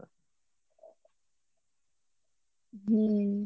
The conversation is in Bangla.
হুম